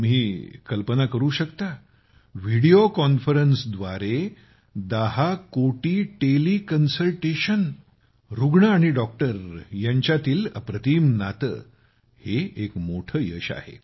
तुम्ही कल्पना करू शकता व्हिडिओ कॉन्फरन्सद्वारे 10 कोटी टेलिकन्सल्टेशन रुग्ण आणि डॉक्टर यांच्यातील अप्रतिम नाते हे एक मोठे यश आहे